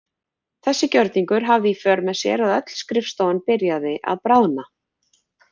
Þessi gjörningur hafði í för með sér að öll skrifstofan byrjaði að bráðna.